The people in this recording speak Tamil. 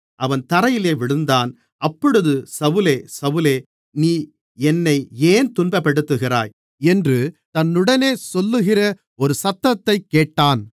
அவன் தரையிலே விழுந்தான் அப்பொழுது சவுலே சவுலே நீ என்னை ஏன் துன்பப்படுத்துகிறாய் என்று தன்னுடனே சொல்லுகிற ஒரு சத்தத்தைக் கேட்டான்